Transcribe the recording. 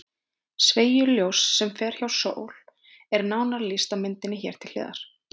Sveigju ljóss sem fer hjá sól er nánar lýst á myndinni hér til hliðar.